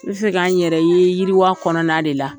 N bɛ fɛ k' an n yɛrɛ ye yiriwa kɔnɔna de la.